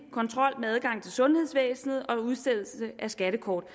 kontrol med adgang til sundhedsvæsenet og udstedelse af skattekort